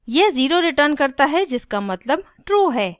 यह zero returns करता है जिसका मतलब true है